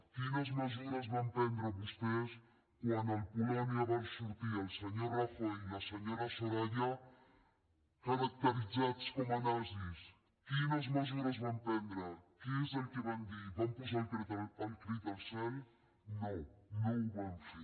quines mesures van prendre vostès quan al polònia van sortir el senyor rajoy i la senyora soraya caracteritzats com nazis quines mesures van prendre què és el que van dir van posar el crit al cel no no ho van fer